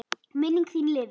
Minning þín lifir.